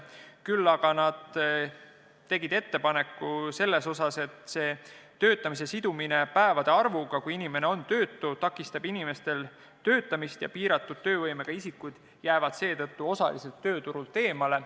Küll aga tegid nad ettepaneku, et töötamise sidumine päevade arvuga, kui inimene on töötu, takistab inimestel töötamist ja piiratud töövõimega isikud jäävad seetõttu osaliselt tööturult eemale.